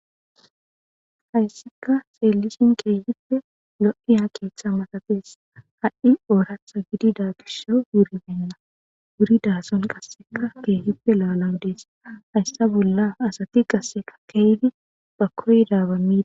haysseka seelisin keehipfe lo7iya keeththa matafees ha7i ooratha gidida gisso wuribenna wuri daason qasseka keehippe laalan dees hayssa bolla asati qasseka keeydi ba koy daabamii